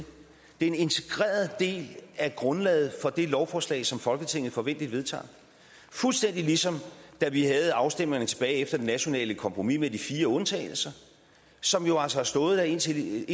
en integreret del af grundlaget for det lovforslag som folketinget forventeligt vedtager fuldstændig ligesom da vi havde afstemningerne tilbage efter det nationale kompromis med de fire undtagelser som jo altså har stået der indtil